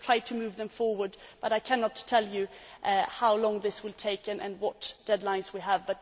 We will try to move them forward but I cannot tell you how long this will take and what deadlines we have.